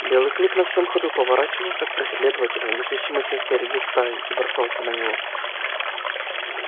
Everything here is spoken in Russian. белый клык на всём ходу поворачивался к преследователю несущемуся впереди стаи и бросался на него